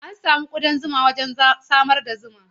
An san kuɗan zuma wajen samar da zuma.